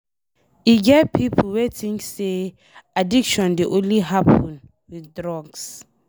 E get pipo wey think say addiction dey only happen with drugs.